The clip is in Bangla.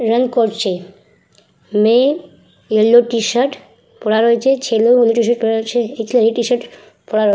রান করছে মেয়ে ইয়েলো টিশার্ট পড়া রয়েছে ছেলে ইয়েলো টিশার্ট পড়া আছে একটি ইয়েলো টিশার্ট পড়া --